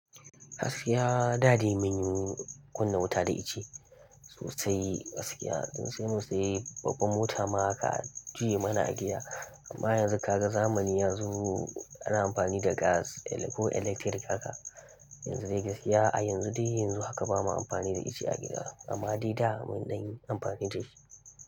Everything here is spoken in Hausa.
Gaskiya, da dai munyi kunna wuta da icce sosai gaskiya, toh sai mun sayi babban mota ma haka juya mana a gida. Amma yanzu ka ga zamani ya zo ana amfani da gas ko electric haka. Yanzu dai gaskiya a yanzu dai yanzu haka ba ma amfani da icce a gida, amma a da da, mun dan yi amfani da shi.